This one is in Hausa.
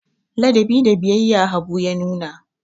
Ladabi da biyayya Habu ya nuna jiya.